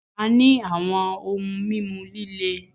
A ní àwọn ohun mímu líle